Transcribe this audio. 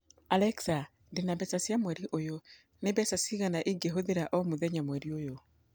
Alexa, ndĩ na mbeca cia mweri ũyũ. Nĩ mbeca cigana ingĩhũthĩra o mũthenya mweri ũyũ